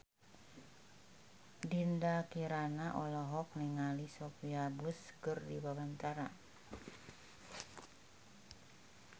Dinda Kirana olohok ningali Sophia Bush keur diwawancara